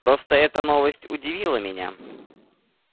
просто эта новость удивила меня